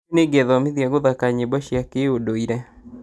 Rũciũ nĩngethomithia gũthaka nyĩmbo cia kĩũndũire